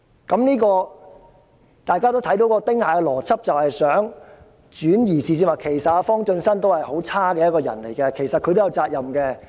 "由此可見，"丁蟹邏輯"是要轉移視線，指摘方進新是一個很差勁的人，所以他亦應負上責任。